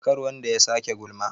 kar wanda ya sake gulma?